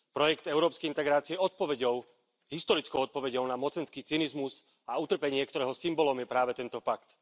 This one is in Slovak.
Projekt európskej integrácie je historickou odpoveďou na mocenský cynizmus a utrpenie, ktorého symbolom je práve tento pakt.